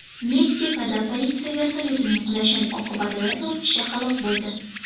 Meksikada politsiya vertolyotining qulashi oqibatida to‘rt kishi halok bo‘ldi.